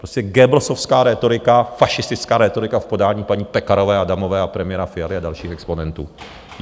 Prostě goebbelsovská rétorika, fašistická rétorika v podání paní Pekarové Adamové a premiéra Fialy a dalších exponentů!